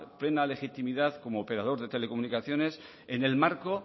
plena legitimidad como operador de telecomunicaciones en el marco